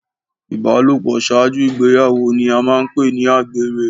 Ìbálòpọ̀ ṣáájú ìgbéyàwó ni a máa ń pè ní àgbèrè.